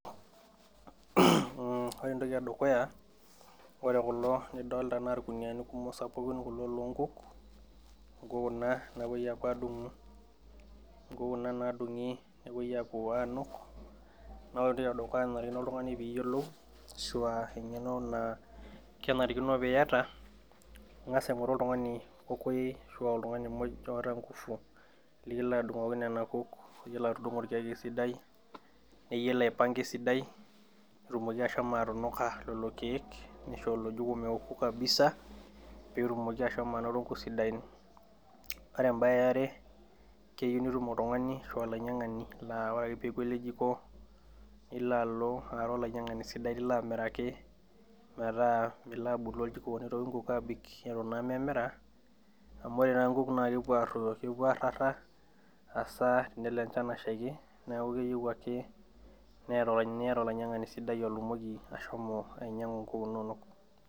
Mmh ore entoki edukuya ore kulo lidollta naa irkuniani kumok sapukin lonkuk inkuk kuna napuoi apuo adung'u inkuk kuna nadung'i nepuoi apuo anuk nore entoki edukuya nanarikino oltung'ani piyiolou ashua eng'eno naa kenarikino piyata naa ing'as aing'oru oltung'ani kokoyei ashu oltung'ni muj oota ingufu likilo adung'oki nena kuk oyiolo atudung'o irkek esidai neyiolo aipanga esidai netumoki ashomo atunuka lelo keek nisho ilo jiko meoku kabisa petumoki ashomo anoto inkuk sidain ore embaye eare keyiu nitum oltung'ani ashu olainyiang'ani laa ore ake peeku ele jiko nilo alo aata olainyiang'ani sidai lilo amiraki metaa milo abolu oljiko nitoki inkuk abik eton naa memira amu ore naa inkuk naa kepuo arruoyo kepuo arrara asaa belo enchan ashaiki neeku keyieu ake niata olainyiang'ani sidai otumoki ashomo ainyiang'u inkuk inonok.